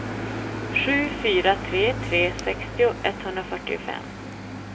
sju fyra tre tre sextio etthundrafyrtiofem